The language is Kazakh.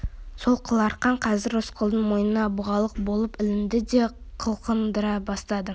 сол қыл арқан қазір рысқұлдың мойнына бұғалық болып ілінді де қылқындыра бастады